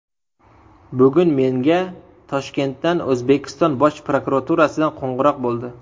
Bugun menga Toshkentdan, O‘zbekiston Bosh prokuraturasidan qo‘ng‘iroq bo‘ldi.